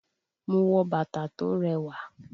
Mo wọ bàtà tó rẹwà